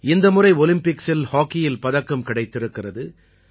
இந்த முறை ஒலிம்பிக்கில் ஹாக்கியில் பதக்கம் கிடைத்திருக்கிறது